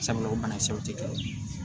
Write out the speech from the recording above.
Sabula o banakisɛw tɛ dɔwɛrɛ ye